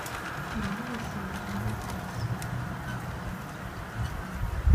новый сериал нетфликс смотреть